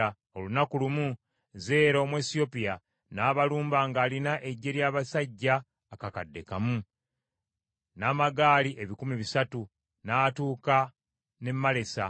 Olunaku lumu, Zeera Omwesiyopya n’abalumba ng’alina eggye lya basajja akakadde kamu, n’amagaali ebikumi bisatu, n’atuuka n’e Malesa.